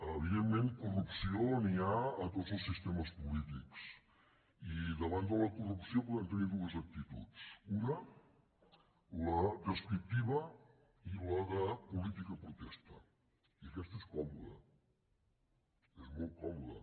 evidentment de corrupció n’hi ha a tots els sistemes polítics i davant de la corrupció podem tenir dues actituds una la descriptiva i la de política protesta i aquesta és còmoda és molt còmoda